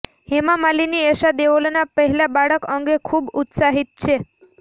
હેમા માલિની એશા દેઓલના પહેલા બાળક અંગે ખૂબ ઉત્સાહિત છે